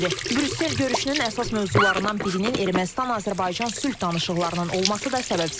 Brüssel görüşünün əsas mövzularından birinin Ermənistan-Azərbaycan sülh danışıqlarının olması da səbəbsiz deyil.